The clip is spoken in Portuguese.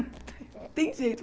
Não tem jeito.